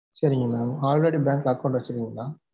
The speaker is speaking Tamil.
சரிங்க mam already bank ல account வச்சு இருக்கிங்களா?